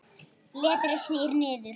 Letrið snýr niður.